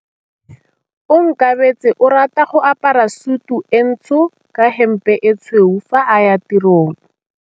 Onkabetse o rata go apara sutu e ntsho ka hempe e tshweu fa a ya tirong.